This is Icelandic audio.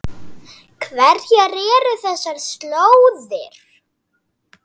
Hverjar eru þessar slóðir?